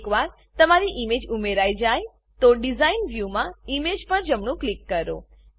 એકવાર તમારી ઈમેજ ઉમેરાઈ જાય તો ડીઝાઇન વ્યુમાં ઈમેજ પર જમણું ક્લિક કરો